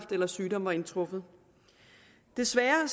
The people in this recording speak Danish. eller sygdommen var indtruffet desværre er